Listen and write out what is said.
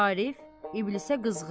Arif İblisə qızğın.